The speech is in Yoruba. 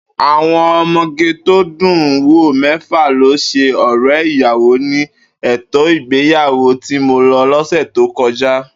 Àwo̩n o̩mo̩gé tó dùn-ún wò mé̩fà ló s̩e ò̩ré̩ ìyàwó ní ètò ìgbéyàwó tí mo lo̩ lọ́sè̩ tó ko̩já